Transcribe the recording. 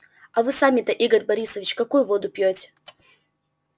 а вы сами-то игорь борисович какую воду пьёте